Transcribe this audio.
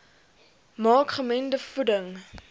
maak gemengde voeding